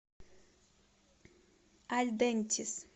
альдентис